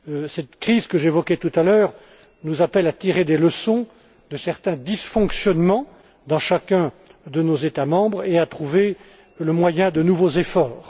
Cette crise que j'évoquais tout à l'heure nous appelle à tirer les leçons de certains dysfonctionnements dans chacun de nos États membres et à trouver le moyen de nouveaux efforts.